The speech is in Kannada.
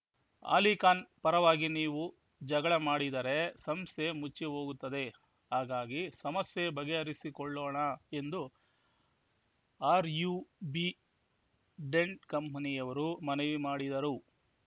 ಅಲಿಖಾನ್‌ ಪರವಾಗಿ ನೀವು ಜಗಳ ಮಾಡಿದರೆ ಸಂಸ್ಥೆ ಮುಚ್ಚಿಹೋಗುತ್ತದೆ ಹಾಗಾಗಿ ಸಮಸ್ಯೆ ಬಗೆಹರಿಸಿಕೊಳ್ಳೋಣ ಎಂದು ಆರ್ ಯು ಬಿ ಡೆಂಟ್‌ ಕಂಪನಿಯವರು ಮನವಿ ಮಾಡಿದರು ಆ